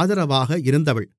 ஆதரவாக இருந்தவள்